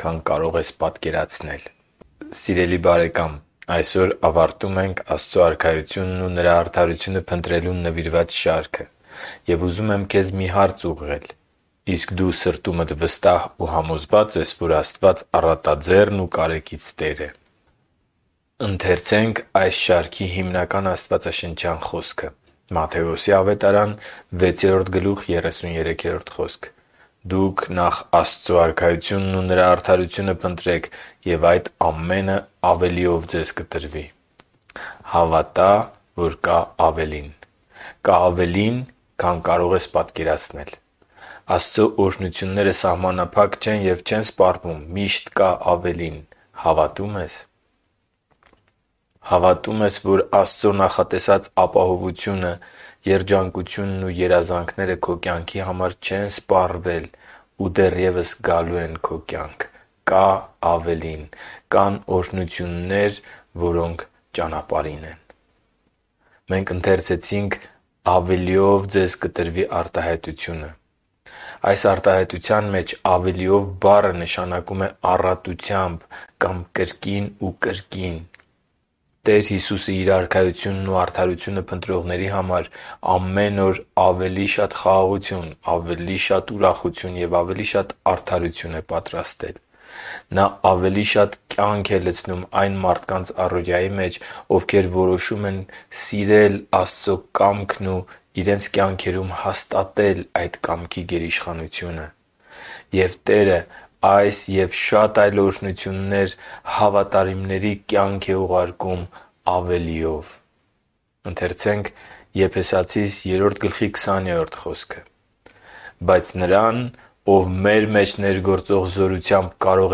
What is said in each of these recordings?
քան կարող ես պատկերացնել... Սիրելի բարեկա՛մ,այսօր ավարտում ենք Աստծո Արքայությունն ու արդարությունը փնտրելուն նվիրված շարքը։ Եվ ուզում եմ քեզ մի հարց ուղղել՝իսկ դու սրտումդ վստահ ու համոզվա՞ծ ես, որ Աստված առատաձեռն ու կարեկից Տեր է: Ընթերցե՛նք այս շարքի հիմնական աստվածաշնչյան խոսքը․ «Դուք նախ Աստծու Արքայությունն ու Նրա արդարությո՛ւնը փնտրեք, և այդ ամենը ավելիով ձեզ կտրվի» (Մատթեոս 6.33): Հավատա՛… կա ավելին, քան կարող ես պատկերացնել: Աստծո օրհնությունները սահմանափակ չեն և չեն սպառվում։ Միշտ կա ավելին։ Հավատո՞ւմ ես․․․ Հավատո՞ւմ ես, որ Աստծո նախատեսած ապահովությունը, երջանկությունն ու երազանքները քո կյանքի համար չեն սպառվել ու դեռևս գալու են քո կյանք: Կա ավելին․․․ Կան օրհնություններ, որոնք ճանապարհին են․․․ «․․․ավելիով ձեզ կտրվի» արտահայտության մեջ «ավելիով» բառը նշանակում է առատությամբ կամ կրկին ու կրկին։ Տեր Հիսուսը Իր Արքայությունն ու արդարությունը փնտրողների համար ամեն օր ավելի շատ խաղաղություն, ավելի շատ ուրախություն և ավելի շատ արդարություն է պատրաստել։ Նա ավելի շատ կյանք է լցնում այն մարդկանց առօրյայի մեջ, ովքեր որոշում են սիրել Աստծո կամքն ու իրենց կյանքերում հաստատել այդ կամքի գերիշխանությունը։ Եվ Տերը այս և շատ այլ օրհնություններ հավատարիմների կյանք է ուղարկում ավելիով։ Եփեսացիս 3․20 խոսքում կարդում ենք. «Բայց Նրան, ով մեր մեջ ներգործող զորությամբ կարող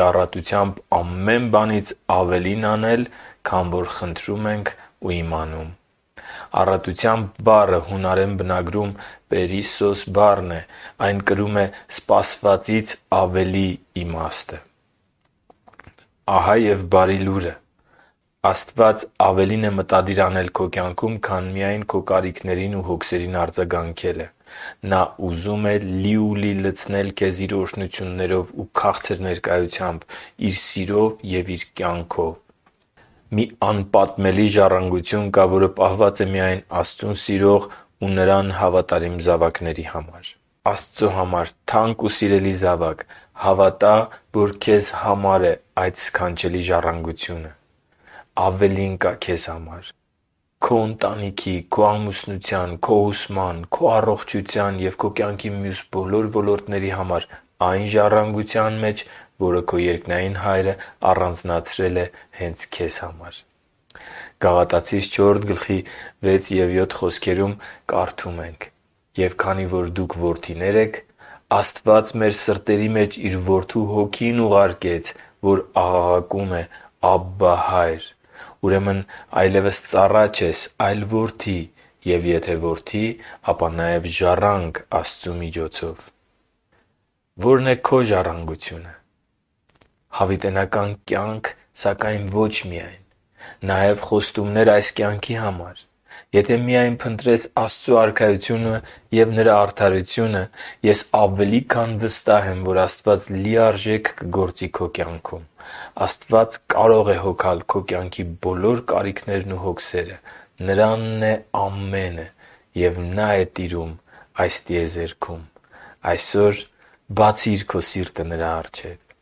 է առատությամբ ամեն բանից ավելին անել, քան որ խնդրում ենք ու իմանում․․․»։ «Առատությամբ» բառը հունարեն բնագրում «perissos» բառն է: Այն կրում է սպասվածից ավելի իմաստը: Ահա և բարի լուրը. Աստված ավելին է մտադիր անել քո կյանքում, քան միայն քո կարիքներին ու հոգսերին արձագանքելը։ Նա ուզում է լիուլի լցնել քեզ Իր օրհնություններով ու քաղցր ներկայությամբ, Իր սիրով և Իր կյանքով։ Մի անպատմելի ժառանգություն կա, որ պահված է միայն Աստծուն սիրող ու Նրան հավատարիմ զավակների համար։ Աստծո համար թանկ ու սիրելի զավա՛կ, հավատա՛, որ քեզ համար է այդ սքանչելի ժառանգությունը։ Ավելին կա քեզ համար՝ քո ընտանիքի, քո ամուսնության, քո ուսման, քո առողջության և քո կյանքի մյուս բոլոր ոլորտների համար այն ժառանգության մեջ, որը քո երկնային Հայրը առանձնացրել է հե՛նց քեզ համար։ Գաղատացիս 4․6-7 հատվածում կարդում ենք․ «Եվ քանի որ դուք որդիներ եք, Աստված մեր սրտերի մեջ Իր Որդու Հոգին ուղարկեց, որ աղաղակում է. «Աբբա՛, Հա՛յր»։ Ուրեմն այլևս ծառա չես, այլ որդի, և եթե որդի, ապա նաև ժառանգ Աստծու միջոցով»։ Ո՞րն է քո ժառանգությունը։ Հավիտենական կյանք, սակայն ոչ միայն։ Նաև խոստումներ այս կյանքի համար։ Եթե միայն փնտրես Աստծո Արքայությունը և Նրա արդարությունը, ես ավելի քան վստահ եմ, որ Աստված լիարժեք կգործի քո կյանքում։ Աստված կարո՛ղ է հոգալ քո կյանքի բոլոր կարիքներն ու հոգսերը։ Նրանն է ամենը և Նա՛ է տիրում այս տիեզերքում։ Այսօր բացի՛ր քո սիրտը Նրա առջև․․․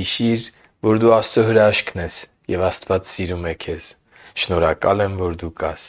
Հիշի՛ր, որ դու Աստծո հրաշքն ես, և Աստված սիրում է քեզ։ Շնորհակալ եմ, որ դու կա՛ս